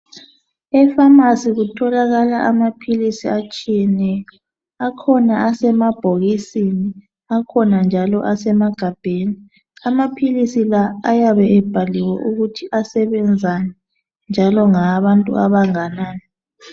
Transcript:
Efamasi kutholakala amaphilisi atshiyeneyo . Akhona asemabhokisini akhona njalo asemagabheni. Amaphilisi la ayabe ebhaliwe ukuthi asebenzani njalo ngawabantu abanganani.